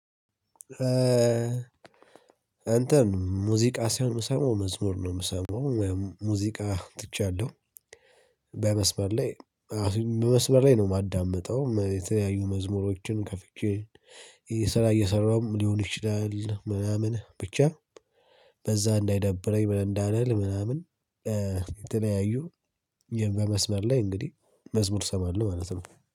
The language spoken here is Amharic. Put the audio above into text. እንትን ሙዚቃ ሳይሆን የምሰማው መዝሙር ነው የምሰማው ሙዚቃ ትቻለሁ። በመስመር ላይ በመስመር ላይ ነው የማዳምጠው የተለያዩ መዝሙሮችን ከፍቼ። ስራ እየሰራሁም ሊሆን ይችላል ምናምን ብቻ በዛ እንዳይደብረኝ ምንንዳልል ምናምን። የተለያዩ በመስመር ላይ እንግዲህ መዝሙር ሰማለሁ ማለት ነው